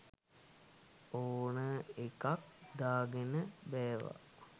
ඕනා එකක් දාගෙන බෑවා